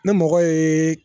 Ne mɔgɔ ye